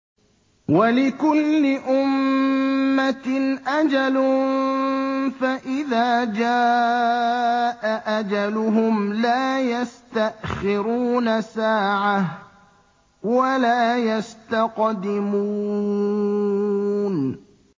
وَلِكُلِّ أُمَّةٍ أَجَلٌ ۖ فَإِذَا جَاءَ أَجَلُهُمْ لَا يَسْتَأْخِرُونَ سَاعَةً ۖ وَلَا يَسْتَقْدِمُونَ